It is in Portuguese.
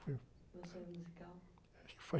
Foi.omeçou em musical?)